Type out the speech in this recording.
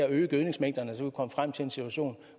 øge gødningsmængderne kan komme frem til en situation